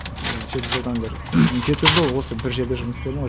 иә жеті жылдан бері жеті жыл осы бір жерде жұмыс істедім ғой